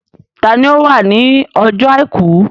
Ta ni ó wà ní ọjọ́ àìkú?